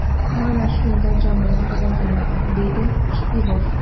Mana shunda jamoa rivojlanadi”, deydi Shipilov.